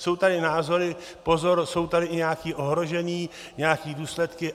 Jsou tady názory - pozor, jsou tady i nějaká ohrožení, nějaké důsledky.